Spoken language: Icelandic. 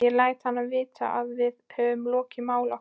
Ég læt hann vita, að við höfum lokið máli okkar.